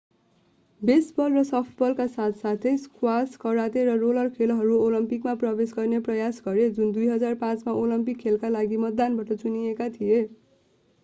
baseball र सफ्टबलको साथ साथै स्क्वाश कराते र रोलर खेलहरू ओलम्पिकमा प्रवेश गर्ने प्रयास गरे जुन 2005 मा ओलम्पिक खेलका लागि मतदानबाट चुनिएका थिए